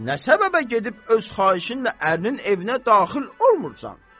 Nə səbəbə gedib öz xahişinlə ərinin evinə daxil olmursan?